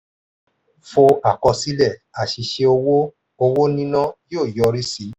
fó àkọsílẹ̀? àṣìṣe owó owó níná yóò yọrí sí one.